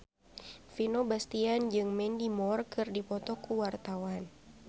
Vino Bastian jeung Mandy Moore keur dipoto ku wartawan